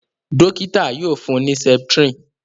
dókítà yíò fún ní septrin